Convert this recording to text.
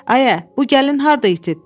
Ayə, bu gəlin harda itib?